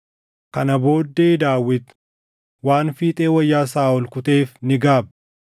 Kana booddee Daawit waan fiixee wayyaa Saaʼol kuteef ni gaabbe.